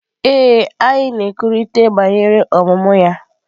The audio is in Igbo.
Ee, anyị na-ekwurịta banyere ọmụmụ ya.